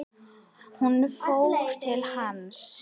Hún fór til hans.